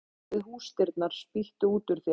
Ó, spýttu út úr þér við húsdyrnar, spýttu út úr þér